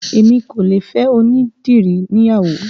Èmi kò lè fẹ́ onídìrí níyàwó